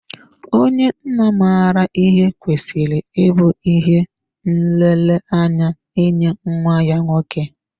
Onye nna maara ihe kwesịrị ịbụ ihe nlereanya nye nwa ya nwoke.